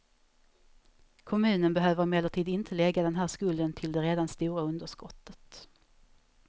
Kommunen behöver emellertid inte lägga den här skulden till det redan stora underskottet.